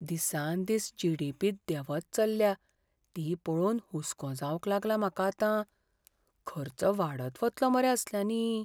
दिसान दीस जी.डी.पी. देंवत चल्ल्या ती पळोवन हुस्को जावंक लागला म्हाका आतां. खर्च वाडत वतलो मरे असल्यांनी.